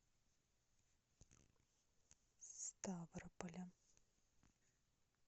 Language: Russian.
ставрополя